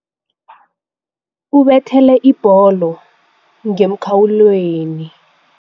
Ubethele ibholo ngemkhawulweni.